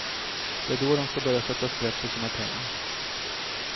Det är då de ska börja sätta sprätt på sina pengar.